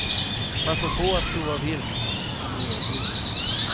Passa på att prova vilt om det erbjuds.